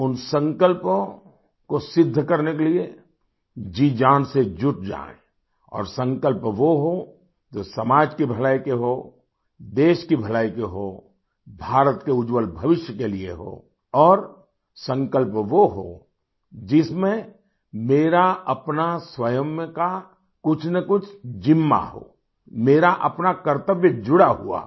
उन संकल्पों को सिद्ध करने के लिए जीजान से जुट जाएँ और संकल्प वो हो जो समाज की भलाई के हो देश की भलाई के हो भारत के उज्जवल भविष्य के लिए हो और संकल्प वो हो जिसमें मेरा अपना स्वयं का कुछनकुछ जिम्मा हो मेरा अपना कर्तव्य जुड़ा हुआ हो